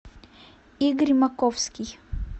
игорь маковский